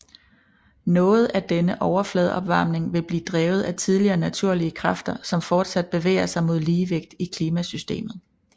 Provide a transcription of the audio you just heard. Noget af denne overfladeopvarmning vil blive drevet af tidligere naturlige kræfter som fortsat bevæger sig mod ligevægt i klimasystemet